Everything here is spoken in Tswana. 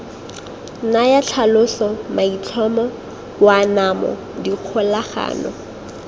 naya tlhaloso maitlhomo boanamo dikgolagano